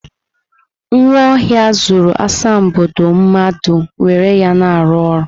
Nwaohia zuru asambodo mmadu were ya na-aru oru.